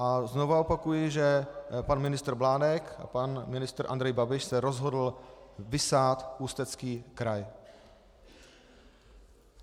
A znovu opakuji, že pan ministr Mládek a pan ministr Andrej Babiš se rozhodl vysát Ústecký kraj.